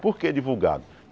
Por que divulgado?